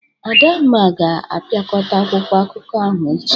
Adanma ga-apịakọta akwụkwọ akụkọ ahụ echi.